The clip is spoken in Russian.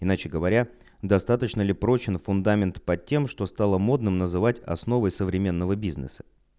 иначе говоря достаточно ли прочный фундамент под тем что стало модным называть основой современного бизнеса